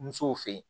Musow fe yen